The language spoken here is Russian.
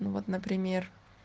ну вот например